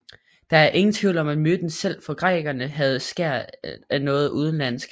Der er ingen tvivl om at myten selv for grækerne havde et skær af noget udenlandsk